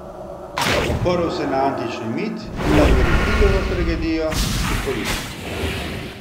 Oprl se je na antični mit in na Evripidovo tragedijo Hipolit.